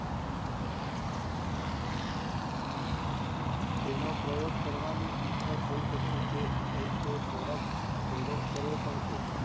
તેનો પ્રયોગ કરવાની ઈચ્છા થય શકે છે, થયી છે, થોડાક થોડોક કર્યો પણ છે.